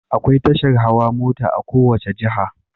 Akwai tashar hawa mota a kowacce jiha